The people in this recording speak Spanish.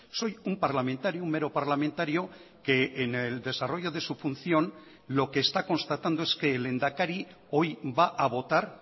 soy un parlamentario un mero parlamentario que en el desarrollo de su función lo que está constatando es que el lehendakari hoy va a votar